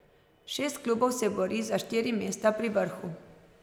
Šest klubov se bori za štiri mesta pri vrhu.